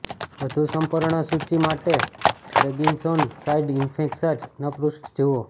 વધુ સંપૂર્ણ સૂચિ માટે પ્રેગ્નિસોન સાઇડ ઇફેક્શન પૃષ્ઠ જુઓ